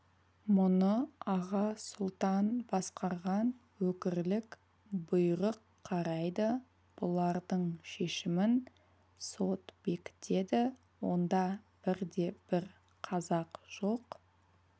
мұны аға сұлтан басқарған өкірлік бұйрық қарайды бұлардың шешімін сот бекітеді онда бірде-бір қазақ жоқ